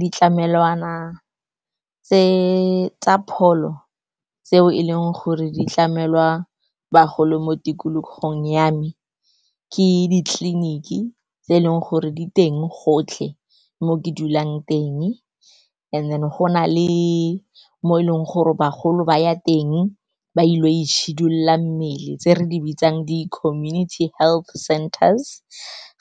Ditlamelwana tsa pholo tseo e leng gore di tlamelwa bagolo mo tikologong ya me ke ditleliniki tse e leng gore di teng gotlhe mo ke dulang teng, and then go na le mo e leng gore bagolo ba ya teng ba ilo itshidula mmele, tse re di bitsang di community health centers.